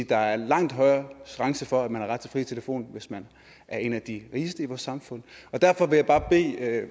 der er en langt højere chance for at man har ret til fri telefon hvis man er en af de rigeste i vores samfund derfor vil jeg bare bede